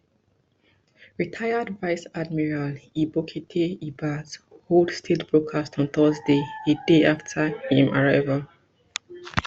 retired vice admiral ibokete ibas hold state broadcast on thursday a day aft aim arrival